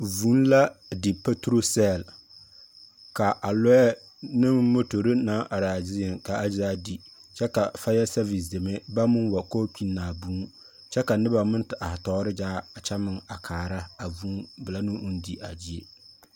Vũũ la di patoro sԑlle ka a lͻԑ neŋ motori naŋ araa zieŋ ka a zaa di kyԑ ka faya sԑvis deme baŋ meŋ wa ka ba kpinni a boo, kyԑ ka noba meŋ te are tͻͻre gyaa a kyԑ meŋ a kaara a boo belԑ ne o di a gyie.